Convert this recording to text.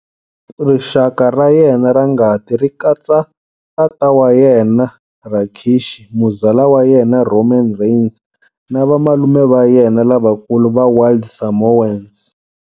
Rixaka ra yena ra ngati ri katsa tata wa yena Rikishi, muzala wa yena Roman Reigns na vamalume va yena lavakulu va Wild Samoans.